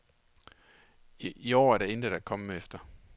I år er der intet at komme efter.